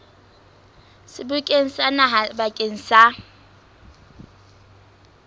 sebokeng sa naha bakeng sa